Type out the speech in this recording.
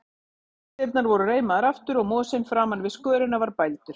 Tjalddyrnar voru reimaðar aftur og mosinn framan við skörina var bældur.